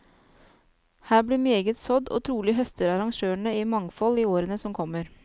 Her blir meget sådd, og trolig høster arrangørene i mangfold i årene som kommer.